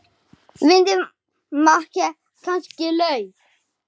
Vildi makker kannski LAUF?